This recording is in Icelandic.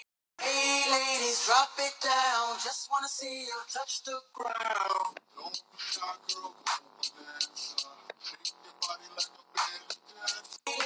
Rut, opnaðu dagatalið mitt.